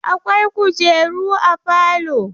Akwai kujeru a falo.